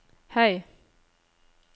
høy